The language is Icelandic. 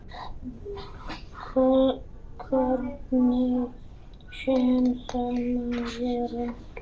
Hvernig sem það má vera.